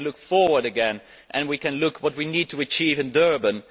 We can look forward again and we can look at what we need to achieve in Durban.